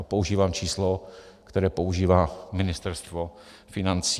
A používám číslo, které používá Ministerstvo financí.